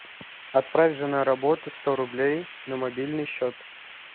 отправь жена работа сто рублей на мобильный счет